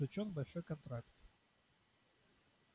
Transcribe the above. заключён большой контракт